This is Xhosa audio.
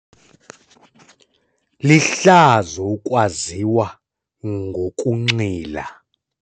Lihlazo ukwaziwa ngokunxila.